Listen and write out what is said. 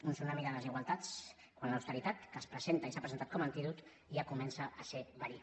un tsunami de desigualtats quan l’austeritat que es presenta i s’ha presentat com antídot ja comença a ser verí